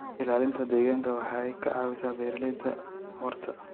Ilaalinta deegaanka waxay ka caawisaa beeralayda waarta.